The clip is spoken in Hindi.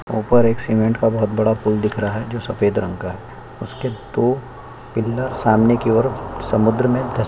ऊपर एक सीमेंट का बहोत बड़ा पुल दिख रहा है जो सफेद रंग का है उसके दो पिललर सामने की ओर समुद्र में धसे--